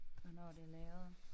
Hvornår det lavet